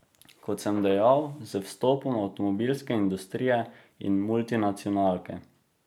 Kot sem dejal, z vstopom avtomobilske industrije in multinacionalke.